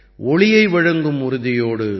ஒளியை வழங்கும் உறுதியோடு